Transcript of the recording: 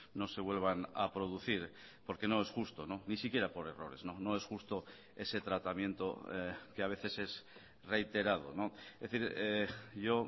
no se vuelvan a producir porque no es justo ni siquiera por errores no es justo ese tratamiento que a veces es reiterado es decir yo